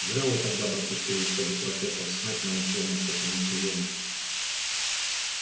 зря вы тогда допустили чтобы профессор снегг научил нас этому приёму